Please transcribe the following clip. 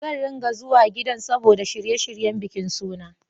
Zan ringa zuwa gidan saboda shirye-shiryen bikin sunan.